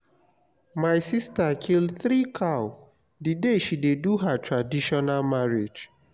my sister kill three cow the day she dey do her traditional marriage